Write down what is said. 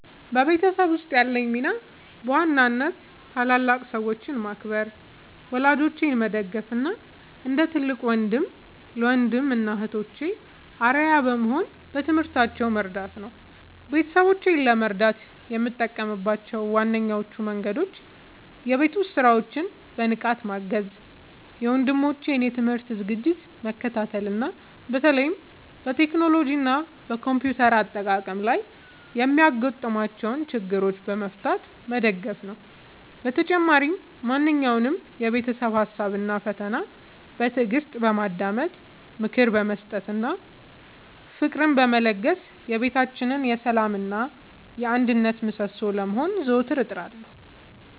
በቤተሰቤ ውስጥ ያለኝ ሚና በዋናነት ታላላቅ ሰዎችን ማክበር፣ ወላጆቼን መደገፍ እና እንደ ትልቅ ወንድም ለወንድም እና እህቶቼ አርአያ በመሆን በትምህርታቸው መርዳት ነው። ቤተሰቦቼን ለመርዳት የምጠቀምባቸው ዋነኞቹ መንገዶች የቤት ውስጥ ሥራዎችን በንቃት ማገዝ፣ የወንድሞቼን የትምህርት ዝግጅት መከታተል እና በተለይም በቴክኖሎጂ እና በኮምፒውተር አጠቃቀም ላይ የሚያጋጥሟቸውን ችግሮች በመፍታት መደገፍ ነው። በተጨማሪም ማንኛውንም የቤተሰብ ሀሳብ እና ፈተና በትዕግስት በማዳመጥ፣ ምክር በመስጠት እና ፍቅርን በመለገስ የቤታችን የሰላም እና የአንድነት ምሰሶ ለመሆን ዘወትር እጥራለሁ።